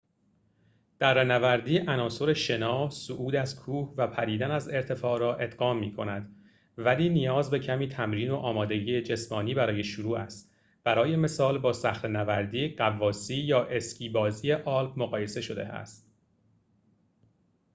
دره‌نوردی عناصر شنا، صعود از کوه و پریدن از ارتفاع را ادغام می‌کند ولی نیاز به کمی تمرین و آمادگی جسمانی برای شروع است برای مثال با صخره‌نوردی،‌ غواصی یا اسکی بازی آلپ مقایسه شده است